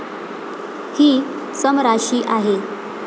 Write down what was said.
हि सम राशी आहे.